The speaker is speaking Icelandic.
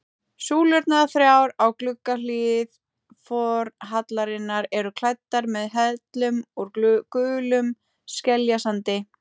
Súlurnar þrjár á gluggahlið forhallarinnar eru klæddar með hellum úr gulum skeljasandi.